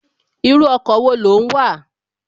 Irú ọkọ̀ wo ló ń wà?